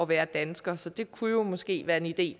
være dansker så det kunne jo måske være en idé